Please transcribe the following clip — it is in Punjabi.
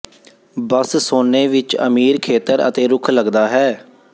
ਬਸ ਸੋਨੇ ਵਿੱਚ ਅਮੀਰ ਖੇਤਰ ਅਤੇ ਰੁੱਖ ਲੱਗਦਾ ਹੈ